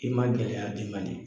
I ma gɛlɛya demande